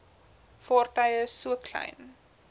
vaartuie so klein